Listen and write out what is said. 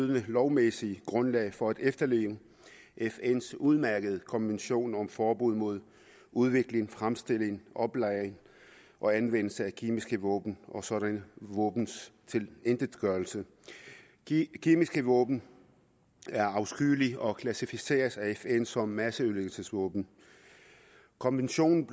lovmæssige grundlag for at efterleve fns udmærkede konvention om forbud mod udvikling fremstilling oplagring og anvendelse af kemiske våben og sådanne våbens tilintetgørelse de kemiske våben er afskyelige og klassificerers af fn som masseødelæggelsesvåben konventionen